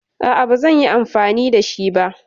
Aa bazanyi amfani shi ba